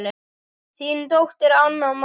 Þín dóttir Anna María.